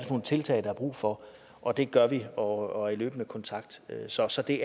nogle tiltag der er brug for og det gør vi og der er løbende kontakt så så det